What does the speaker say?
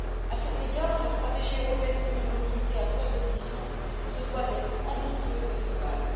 À cet égard, la stratégie européenne pour une mobilité à faibles émissions se doit d'être ambitieuse et globale.